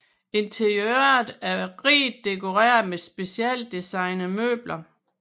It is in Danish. Interiøret er rigt dekoreret med specialdesignede møbler